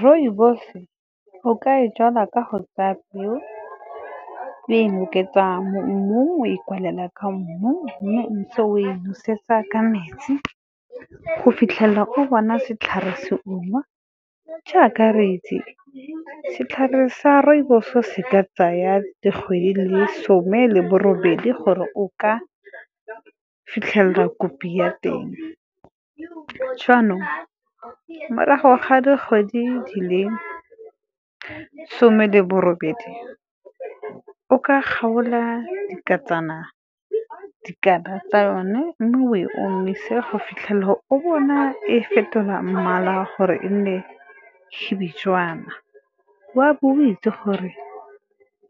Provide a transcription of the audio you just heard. Rooibos o ka e jala ka go tsaya peo, mo mmung o e kwalela ka mmu mme ntse o e nosetsa ka metsi go fitlhelela o bona setlhare se ungwa. Jaaka re itse setlhare sa rooibos se ka tsaya dikgwedi di le some le bo robedi gore o ka fitlhelela kopi ya teng. Jaanong morago ga dikgwedi di le some le bo robedi o ka kgaola dikala tsa yone, mme o e omise go fitlhelela o bona e fetola mmala gore e nne . O a bo o itse gore